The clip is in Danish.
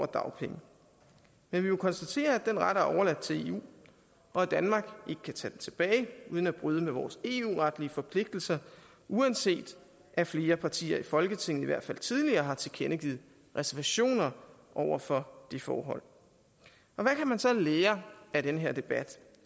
dagpenge men vi må konstatere at den ret er overladt til eu og at danmark ikke kan tage den tilbage uden at bryde med vores eu retlige forpligtelser uanset at flere partier i folketinget i hvert fald tidligere har tilkendegivet reservationer over for det forhold hvad kan man så lære af den her debat